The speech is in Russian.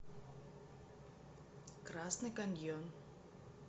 красный каньон